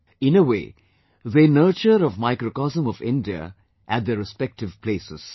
In a way, they nurture a microcosm of India at their respective places